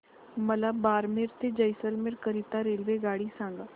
मला बारमेर ते जैसलमेर करीता रेल्वेगाडी सांगा